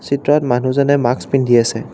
চিত্ৰত মানুহজনে মাস্ক পিন্ধি আছে।